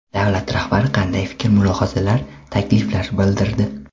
Davlat rahbari qanday fikr-mulohazalar, takliflar bildirdi?